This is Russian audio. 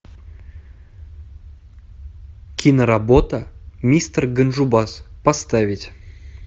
киноработа мистер ганджубас поставить